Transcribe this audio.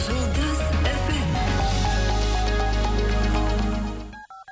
жұлдыз фм